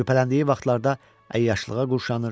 Şübhələndiyi vaxtlarda əyyaşlığa quşanır.